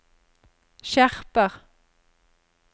skjerper